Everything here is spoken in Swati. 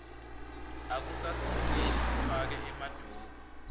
akusasilungeli sifake emaduku